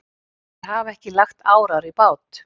Þeir hafa ekki lagt árar í bát.